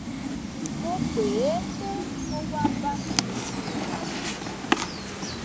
mo pè é pé kó wá bá mi rìnrìn àjò